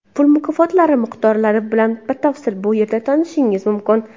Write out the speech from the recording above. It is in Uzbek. Pul mukofotlari miqdorlari bilan batafsil bu yerda tanishishingiz mumkin.